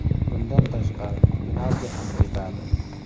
Bundan tashqari penalti ham tepadi.